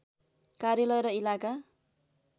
कार्यालय र इलाका